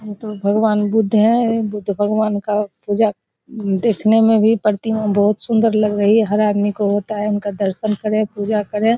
तो भगवान बुद्ध है बुद्ध भगवान का पूजा देखने में भी प्रतिमा सुंदर लग रही है हर आदमी को होता है उनका दर्शन करें उनका पूजा करें ।